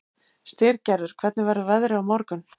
Styrgerður, hvernig verður veðrið á morgun?